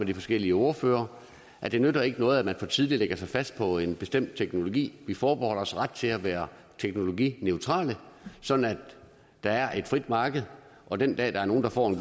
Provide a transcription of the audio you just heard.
de forskellige ordførere det nytter ikke noget at man for tidligt lægger sig fast på en bestemt teknologi vi forbeholder os ret til at være teknologineutrale sådan at der er et frit marked og den dag der er nogen der får en